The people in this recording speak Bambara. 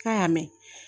K'a y'a mɛn